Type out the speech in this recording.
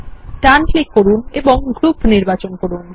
ডান click করুন এবং group নির্বাচন করুন